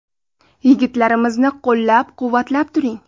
Yigitlarimizni qo‘llab-quvvatlab turing.